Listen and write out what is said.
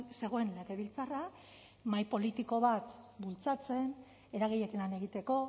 zegoen legebiltzarra mahai politiko bat bultzatzen eragileekin lan egiteko